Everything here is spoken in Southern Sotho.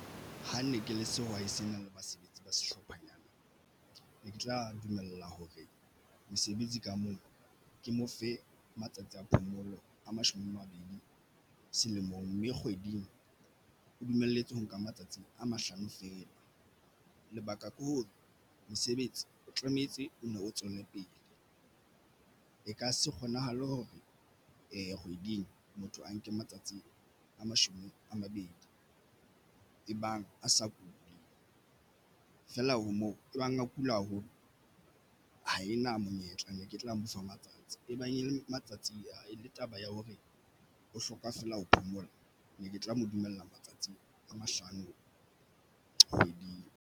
Ha ne ke le sehwai se na le basebetsi ba sehlophanyana ne ke tla dumella hore mosebetsi ka moo ke mo fe matsatsi a phomolo a mashome a mabedi selemong mme kgweding o dumelletswe ho nka matsatsi a mahlano fela. Lebaka ke hore mosebetsi o tlametse o nno o tswele pele e ka se kgonahale hore kgweding motho a nke matsatsi a mashome a mabedi ebang a sa kule feela o moo ebang a kula haholo ha e na monyetla ne ke tla mo fa matsatsi e bang e le matsatsing ana e le taba ya hore o hloka fela ho phomola ne ke tla mo dumella matsatsing a mahlano kgweding.